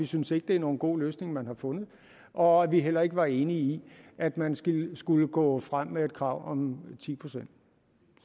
synes at det er nogen god løsning man har fundet og at vi heller ikke var enige i at man skulle gå frem med et krav om ti procent